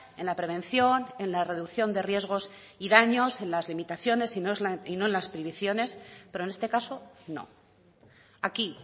en la prevención en la reducción de riesgos y daños en las limitaciones y no en las prohibiciones pero en este caso no aquí